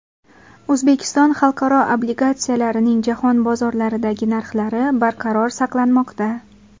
O‘zbekiston xalqaro obligatsiyalarining jahon bozorlaridagi narxlari barqaror saqlanmoqda.